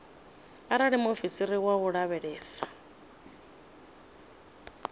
arali muofisiri wa u lavhelesa